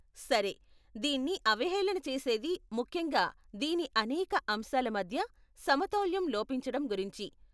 సరే, దీన్ని అవహేళన చేసేది ముఖ్యంగా దీని అనేక అంశాల మధ్య సమతౌల్యం లోపించటం గురించి.